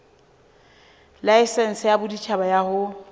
laesense ya boditjhaba ya ho